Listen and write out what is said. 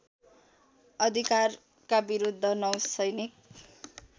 अधिकारका विरुद्ध नौसैनिक